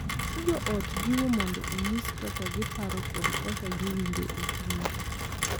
Ka jo ot jiwo mondo onyis kaka giparo kod kaka giwinjo e chunygi,